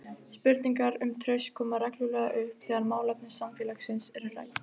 Spurningar um traust koma reglulega upp þegar málefni samfélagsins eru rædd.